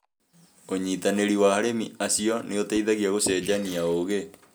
ũnyitanĩri wa arĩmi acio nĩ ũteithagia gũcenjania ũũgi.